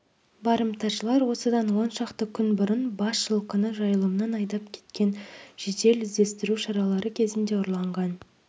барымташылар осыдан он шақты күн бұрын бас жылқыны жайылымнан айдап кеткен жедел іздестіру шаралары кезінде ұрланған